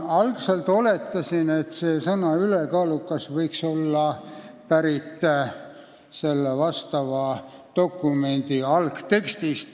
Algselt ma oletasin, et sõna "ülekaalukas" võib olla pärit vastava dokumendi algtekstist.